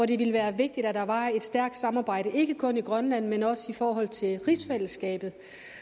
det ville være vigtigt at der var et stærkt samarbejde ikke kun i grønland men også i forhold til rigsfællesskabet